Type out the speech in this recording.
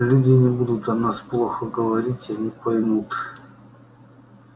люди не будут о нас плохо говорить они поймут